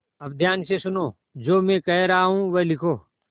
अब ध्यान से सुनो जो मैं कह रहा हूँ वह लिखो